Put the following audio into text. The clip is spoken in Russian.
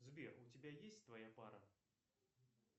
сбер у тебя есть твоя пара